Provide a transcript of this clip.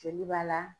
Joli b'a la